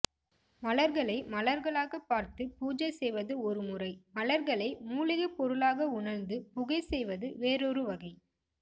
மலர்களை மலர்களாக பார்த்து பூஜை செய்வது ஒரு முறை மலர்களை மூலிகை பொருளாக உணர்ந்து புகை செய்வது வேறொரு வகை